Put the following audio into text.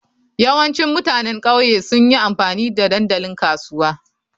Yawancin mutanen ƙauye sun yi amfani da dandalin kasuwa.